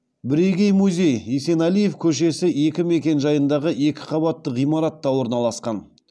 бірегей музей есенәлиев көшесі екі мекенжайындағы екі қабатты ғимаратта орналасқан